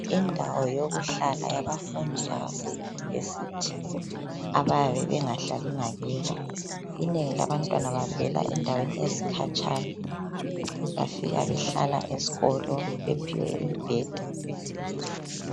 Indawo yokuhlala yabafundi abase university abayabe bengahlali ngakibo. Inengi labantwana yababe bevela endaweni ezikatshana, bafika behlala esikolo bephiwe imbheda.